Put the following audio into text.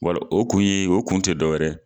Wala o kun ye o kun te dɔwɛrɛ ye